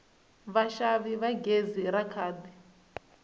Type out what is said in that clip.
vaxavi va gezi ra khadi